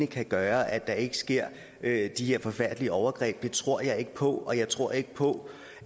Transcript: kan gøre at der ikke sker de her forfærdelige overgreb det tror jeg ikke på og jeg tror ikke på